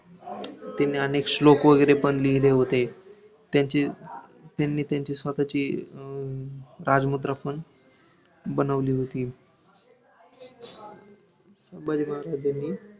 त्यांनी अनेक श्लोक वैगरे पण लिहिले होते, त्यांची, त्यांनी त्यांची स्वतःची अं राजमुद्रा पण बनवली होती, संभाजी महाराजांनी